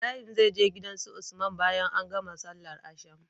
Ibrahim zai je gidan su usman bayan an gama sallar asham